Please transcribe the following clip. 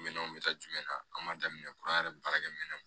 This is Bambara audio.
Minɛnw bɛ taa jumɛn na an b'a daminɛ kura yɛrɛ baarakɛminɛw